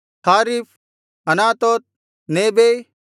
Hariph Anathoth Nebai